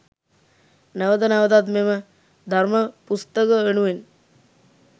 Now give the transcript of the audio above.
නැවත නැවතත් මෙම ධර්ම පුස්තක වෙනුවෙන්